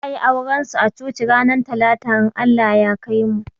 Za a yi auran su a coci ranar talata in Allah ya kaimu